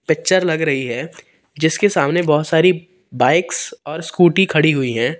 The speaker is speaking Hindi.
पिक्चर लग रही है जिसके सामने बहुत सारी बाइक्स और स्कूटी खड़ी हुई है।